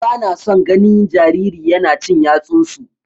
Bana son ganin jariri yana cin yatsunsu.